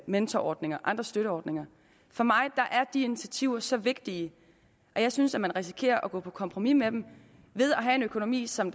mentorordning og andre støtteordninger for mig er de initiativer så vigtige at jeg synes at man risikerer at gå på kompromis med dem ved at have en økonomi som